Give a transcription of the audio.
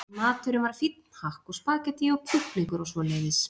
En maturinn var fínn, hakk og spaghettí og kjúklingar og svoleiðis.